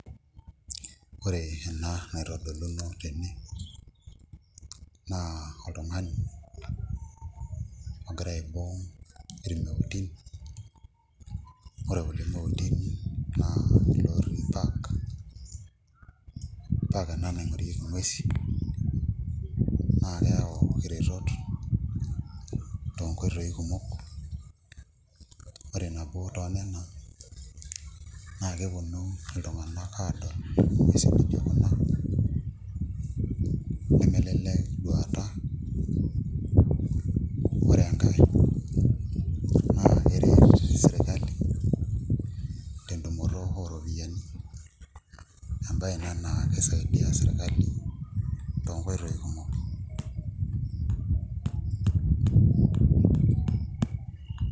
Ore ena naitodoluno tene naa oltung'ani ogira aibung' irmeutin, ore kulo meutin naa ilootii park, park ena naing'orieki nguesin naa keyaau iretot toonkoitooi kumok ore nabo toonena naa keponu iltung'anak aadol nguesin nijio kuna nemelelek duata ore enkae naa keret sii sirkali tentumoto ooropiyiani embaye ina naa kisaidia sirkali toonkoitoi kuumok.